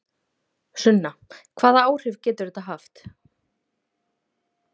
Sunna: Hvaða áhrif getur þetta haft?